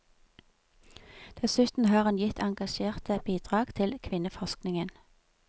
Dessuten har hun gitt engasjerte bidrag til kvinneforskningen.